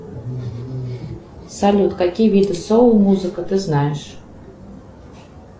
салют какие виды соул музыка ты знаешь